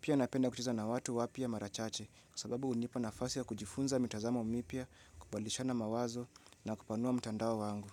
Pia napenda kucheza na watu wapya mara chache kwa sababu hunipa nafasi ya kujifunza mitazamo mipya, kubadilishana mawazo na kupanua mtandao wangu.